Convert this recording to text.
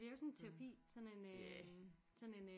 Det er jo sådan en terapi sådan en øh